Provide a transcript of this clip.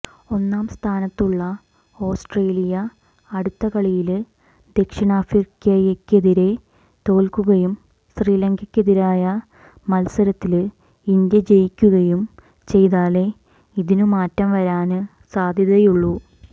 ഒന്നാംസ്ഥാനത്തുള്ള Australia അടുത്ത കളിയില് ദക്ഷിണാഫ്രിക്കയ്ക്കെതിരേ തോല്ക്കുകയും ശ്രീലങ്കയ്ക്കെതിരായ മത്സരത്തില് ഇന്ത്യ ജയിക്കുകയും ചെയ്താലേ ഇതിനു മാറ്റം വരാന് സാധ്യതയുള്ളൂ